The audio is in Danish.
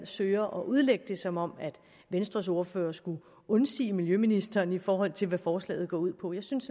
søger at udlægge det som om venstres ordfører skulle undsige miljøministeren i forhold til hvad forslaget går ud på jeg synes